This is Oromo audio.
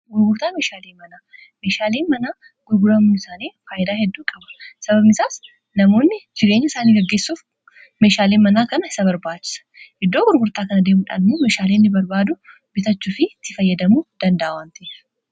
gurgurtaa meeshaalii manaa meshaaliin manaa gurguramu isaanii faayilaa hedduu qaba sabamisaas namoonni jireenya isaanii gaggissuuf meeshaaliin manaa kana isa barbaachisa iddoo gurgurtaa kana deemuudhaalmu mishaaliinni barbaadu bitachuu fi ti fayyadamuu danda'awanti